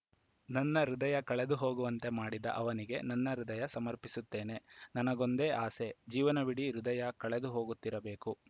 ನನ್ನ ಹೃದಯ ಕಳೆದುಹೋಗುವಂತೆ ಮಾಡಿದ ಅವನಿಗೆ ನನ್ನ ಹೃದಯ ಸಮರ್ಪಿಸುತ್ತೇನೆ ನನಗೊಂದೇ ಆಸೆ ಜೀವನವಿಡೀ ಹೃದಯ ಕಳೆದು ಹೋಗುತ್ತಿರಬೇಕು